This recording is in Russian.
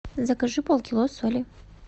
закажи пол кило соли